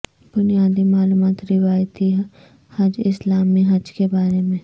بنیادی معلومات روایتی حج اسلامی حج کے بارے میں